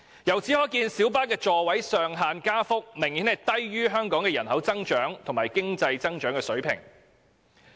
由此可見，小巴座位上限的加幅明顯低於香港人口增長及經濟增長的水平。